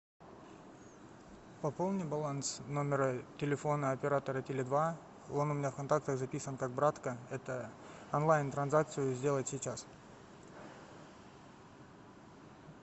пополни баланс номера телефона оператора теле два он у меня в контактах записан как братка это онлайн транзакцию сделать сейчас